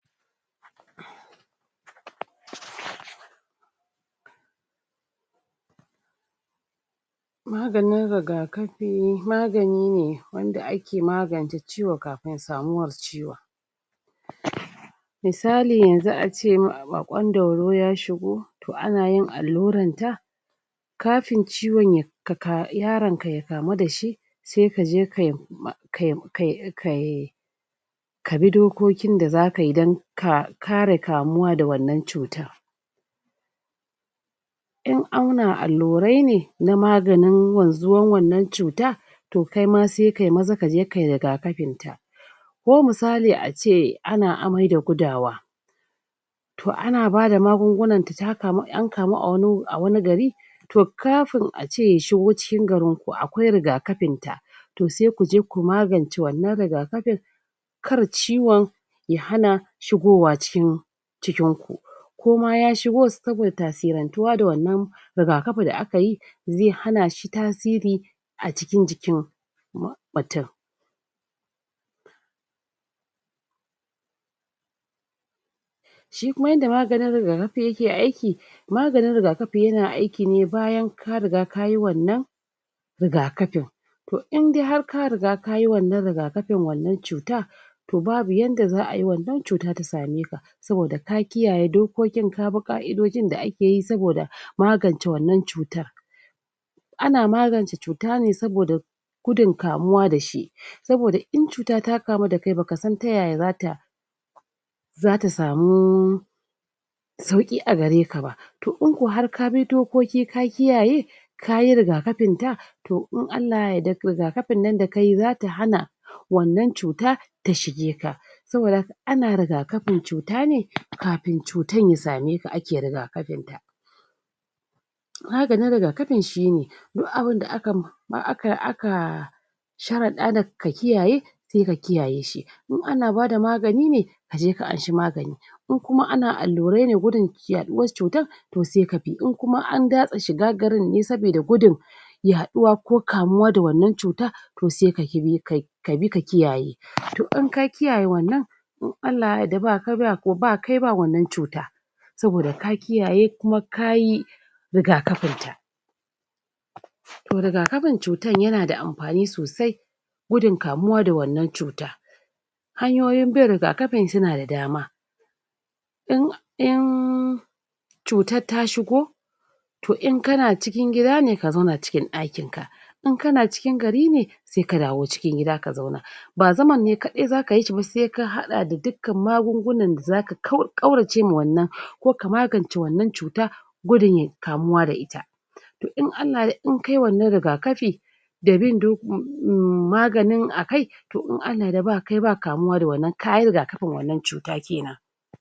maganin rigakafi magani ne wanda aka magance ciwo kafin ciwo misali yanzu a ce ma baƙon dauro ya shigo to ana yin alluran ta kafin ciwon yaran ka ya kamu dashi sai kaje kai ka bi dokokin da zaka yi dan ka kare kamu wa da wannan cutan in awna allurai ne na maganin wanzuwan wannan cutan to kaima sai kayi maza kaje kayi ragakafin ta ko misali a ce ana amai da gudawa to ana bada magunguna da an kamu a gari to kafin a ce ya shigo cikin garin akwai rigakafin ta to sai ku je ku magance wannan rigakafin kar ciwan ya hana shigowa cikin cikin ku koma ya shigo saboda tasirantuwa da wannan rigakafi da aka yi zai hana shi tasiri a cikin jikin mutum shi kuma yanda maganin rigakafin yake aiki maganin rigakafi yana aiki ne bayan ka riga kaui wannan rigakafin to in dai har ka riga kayi wannan rigakafin wannan cuta to babu yanda za'a yi wannan cuta tra same ka saboda ka kiyaye dokokin ya bi ƙa'idojin da ak e yi saboda magance wannan cutan ana magance cuta ne saboda gudun kamu dashi saboda in cuta ta kamu da kai baka san taya ya zata zata samu sauki a gare ka ba to in ko har ka bi dokoki ka kiyaye kayi rigakafin ta to in allah yarda rigakafin nan da kayi zata hana wannan cuta ta shige ka saboda ana rigakafin cuta ne kafin cutan ya same ka aka rigakafin ta maganin rigakfin shine duk abunda aka ma aka sharada daka kiyaye sai ka kiyaye shi in ana bada magani ne kaje ka nashi magani in kuma ana allurai ne gudun yaduwas cutar to sai ka bi in kuma an gatse shiga garin ne sabida gudun yaduwa ko kamuwa da wannan cutan to sai kabi ka bi ka kiyaye to in ka kiyaye wannan to in allah ya yarda ba kai ba wannan cuta saboda ka kiyaye kuma kayi rigakafinta to rigakafin cutan yanada amfani sosai gudun kamuwa da wannan cuta hanyoyin bin rigakafin sunada dama in cutar ta shigo to in kana cikin gida ne ka zauna cikin daki ka in kana cikin gari ne sai ka dawo cikin gida ka zauna ba zaman ne kadai zaka yi shi sai ka hada da duk kan magungunan da zaka ƙaurace ma wannan ko ka magance wannan cuta gudun kamuwa da ita to in allah ya yarda in kayi wannan rigakafi da maganin a kai to in allah ya yarda ba kai ba kamuwa da wannan kayi rigakafin wannan cuta kenan